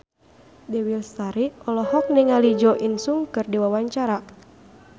Dewi Lestari olohok ningali Jo In Sung keur diwawancara